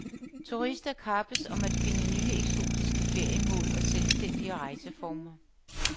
Turister kappes om at finde nye, eksotiske feriemål og selvstændige rejseformer.